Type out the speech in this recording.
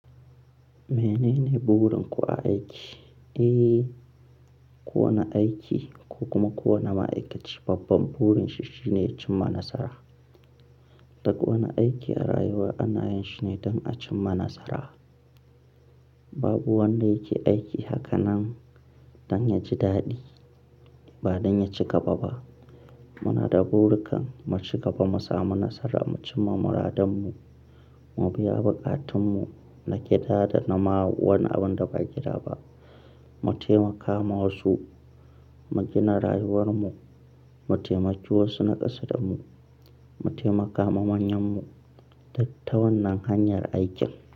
Menene burin ku a aiki? Eh, kowane aiki ko kuma kowane ma'aikaci babban burin shi shine cimma nasara. Duk wani aiki a rayuwa ana yin shi ne don a cimma nasara. Babu wanda yake aiki haka nan don ya ji daɗi ba don ya ci gaba ba. Muna da burikan mu ci gaba, mu samu nasara, mu cimma muradanmu, mu biya bukatunmu na gida da na ma wani abun da ba gida ba, mu taimaka ma wasu, mu gina rayuwarmu, mu taimaki wasu naƙasa damu, mu taimaka ma manyanmu duk ta wannan hanyar aikin.